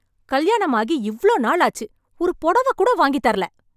கல்யாணம் ஆகி இவ்ளோ நாள் ஆச்சு ஒரு புடவக் கூட வாங்கித் தரல